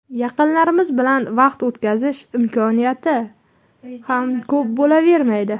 yaqinlarimiz bilan vaqt o‘tkazish imkoniyati ham ko‘p bo‘lavermaydi.